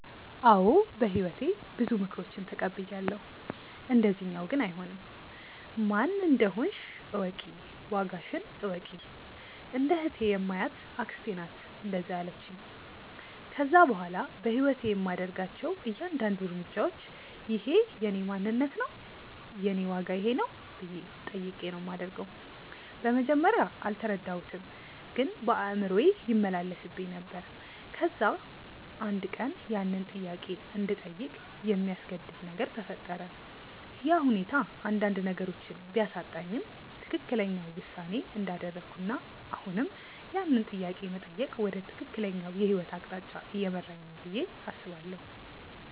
አዎ በህይወቴ ብዙ ምክሮችን ተቀብያለው፣ እንደዚኛው ግን አይሆንም። "ማን እንደሆንሽ እወቂ፣ ዋጋሽን እወቂ"። እንደ እህቴ የማያት አክስቴ ናት እንደዛ ያለቺኝ። ከዛ በኋላ በህይወቴ የማደርጋቸው እያንዳድንዱ እርምጃዎች" እኼ የእኔ ማንነት ነው? የኔ ዋጋ ይኼ ነው?" ብዬ ጠይቄ ነው ማደርገው። በመጀመርያ አልተረዳሁትም ግን በአእምሮዬ ይመላለስብኝ ነበር። ከዛ አንድ ቀን ያንን ጥያቄ እንድጠይቅ የሚያስገድድ ነገር ተፈጠረ፤ ያ ሁኔታ አንዳንድ ነገሮችን ቢያሳጣኝም ትክክለኛው ውሳኔ እንዳደረኩና አሁንም ያንን ጥያቄ መጠየቅ ወደ ትክክለኛው የህይወት አቅጣጫ እየመራኝ ነው ብዬ አስባለው።